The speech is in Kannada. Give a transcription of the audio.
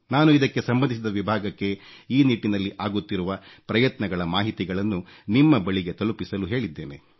ನಾನು ಇದಕ್ಕೆ ಸಂಬಂಧಿಸಿದ ವಿಭಾಗಕ್ಕೆ ಈ ನಿಟ್ಟಿನಲ್ಲಿ ಆಗುತ್ತಿರುವ ಪ್ರಯತ್ನಗಳ ಮಾಹಿತಿಗಳನ್ನು ನಿಮ್ಮ ಬಳಿಗೆ ತಲುಪಿಸಲು ಹೇಳಿದ್ದೇನೆ